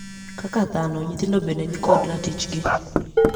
Kaka dhano, nyithindo bende ni kod ratichgi.